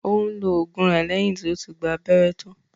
Ó ń lo ògùn rẹ lẹ́yìn tí ó ti gba abẹ́rẹ́ tán